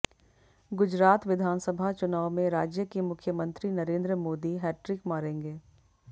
गुजरात विधानसभा चुनाव में राज्य के मुख्यमंत्री नरेंद्र मोदी हैट ट्रिक मारेंगे